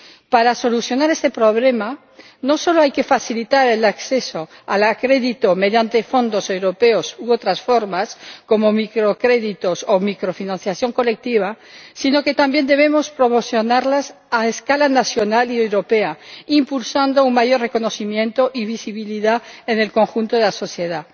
Para solucionar este problema, no solo hay que facilitar el acceso al crédito mediante fondos europeos u otras formas como microcréditos o microfinanciación colectiva, sino que también debemos promocionarlas a escala nacional y europea, impulsando un mayor reconocimiento y visibilidad en el conjunto de la sociedad.